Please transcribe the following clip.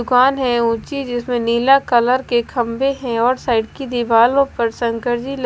दुकान है ऊची जिसमें नीला कलर के खंबे है और साइड की दिवालो पर शंकर जी ल--